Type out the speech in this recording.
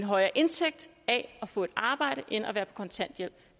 højere indtægt af at få et arbejde end ved at være på kontanthjælp